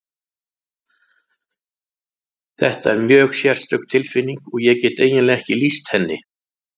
Þetta er mjög sérstök tilfinning og ég get eiginlega ekki lýst henni.